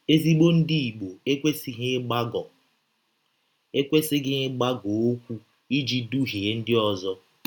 Ezịgbọ Ndị Igbọ ekwesịghị ịgbagọ ekwesịghị ịgbagọ ọkwụ iji dụhie ndị ọzọ.